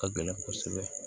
Ka gɛlɛn kosɛbɛ